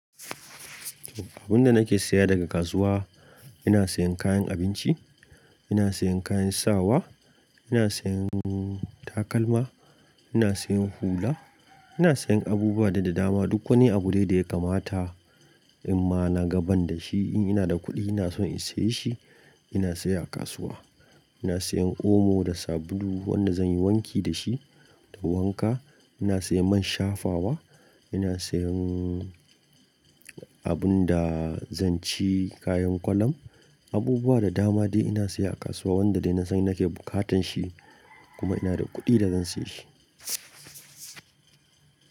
Abun da nake saya daga kasuwa, ina sayen kayan abinci, ina sayen kayan sawa, ina sayen takalma, ina sayen hula, ina sayen abubuwa de dama. Duk wani abu dai da ya kamata in ma na ga ban da shi, in ina da kuɗi ina so in siye shi ina saya a kasuwa. Ina sayan omo da sabulu wanda zan yi wanki da shi da wanka, ina sayan man shafawa, ina sayan abun da zan ci, kayan kwalam, abubuwa da dama dai ina saya a kasuwa wanda dai na san nake bukatan shi kuma ina da kuɗi da zan saye shi.